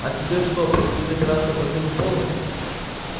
а тебе что предстоит операция по смене пола